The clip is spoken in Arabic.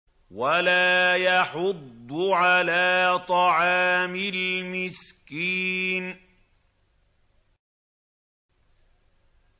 وَلَا يَحُضُّ عَلَىٰ طَعَامِ الْمِسْكِينِ